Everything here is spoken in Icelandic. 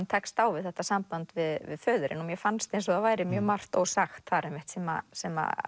tekst á við þetta samband við föðurinn mér fannst eins og það væri mjög margt ósagt þar einmitt sem sem